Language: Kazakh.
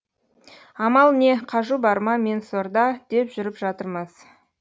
амал не қажу бар ма мен сорда деп жүріп жатырмыз